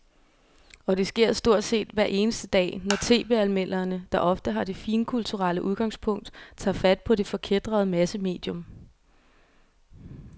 Og det sker stort set hver eneste dag, når tv-anmelderne, der ofte har det finkulturelle udgangspunkt, tager fat på det forkætrede massemedium.